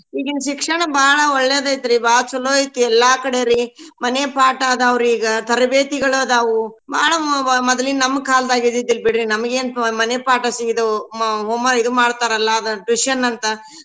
ಈಗಿನ್ ಶಿಕ್ಷಣ ಬಾಳ್ ಒಳ್ಳೇದೈತ್ರೀ ಬಾಳ್ ಚೊಲೋ ಐತಿ ಎಲ್ಲಾ ಕಡೆರೀ ಮನೆ ಪಾಠ ಅದಾವ್ ರೀ ಈಗ ತರಬೇತಿಗಳದಾವು ಬಾಳ ಮೊದ್ಲಿನ್ ನಮ್ ಕಾಲ್ದಾಗ ಇದ್ದಿದಿಲ್ ಬಿಡ್ರಿ ನಮ್ಗೇನ್ ಮನೆ ಪಾಠ ಅಸ್ಟ ಇದ್ವು ಮ~ ಇದು ಮಾಡ್ತಾರಲಾ ಅದ tuition ಅಂತ.